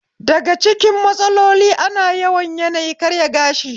Daga cikin matsalolin ana yawan yaniyi karaya gashi